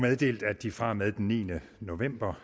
meddelt at de fra og med den niende november